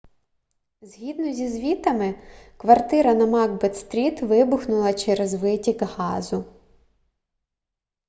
згідно зі звітами квартира на макбет стріт вибухнула через витік газу